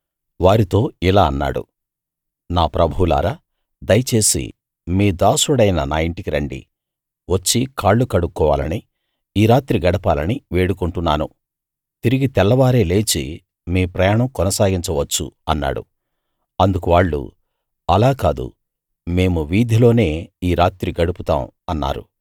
వారితో ఇలా అన్నాడు నా ప్రభువులారా దయచేసి మీ దాసుడైన నా ఇంటికి రండి వచ్చి కాళ్ళు కడుక్కోవాలనీ ఈ రాత్రి గడపాలనీ వేడుకుంటున్నాను తిరిగి తెల్లవారే లేచి మీ ప్రయాణం కొనసాగించవచ్చు అన్నాడు అందుకు వాళ్ళు అలా కాదు మేము వీధిలోనే ఈ రాత్రి గడుపుతాం అన్నారు